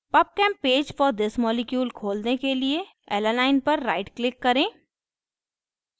pubchem page for this molecule खोलने के लिए alanine alanine पर right click करें